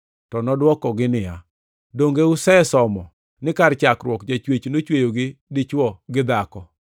To nodwokogi niya, “Donge usesomo ni kar chakruok Jachwech ‘nochweyogi dichwo gi dhako,’ + 19:4 \+xt Chak 1:27\+xt*